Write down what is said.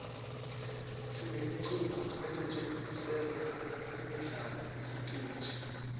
sinemiculo lesetjentiselwa imidlalo yesiteji